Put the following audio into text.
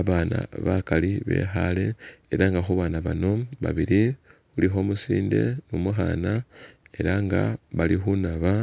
Abana bakali bekhale eranga khubana bano babili khulikho umusinde nu mukhana eranga bali khunaba